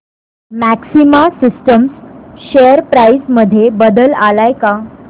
maxima Systems share price मध्ये बदल आलाय का